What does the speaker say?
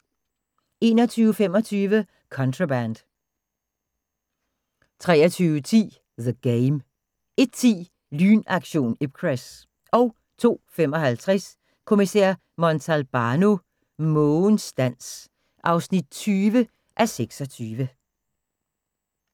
21:25: Contraband 23:10: The Game 01:10: Lynaktion Ipcress 02:55: Kommissær Montalbano: Mågens dans (20:26)